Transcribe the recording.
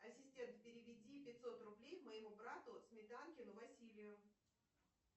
ассистент переведи пятьсот рублей моему брату сметанкину василию